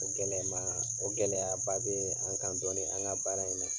O gɛlɛmaa o gɛlɛyaba bee an kan dɔɔnin an ŋa baara in na.